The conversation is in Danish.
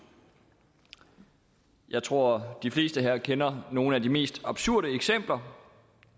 jeg tror de fleste her kender nogle af de mest absurde eksempler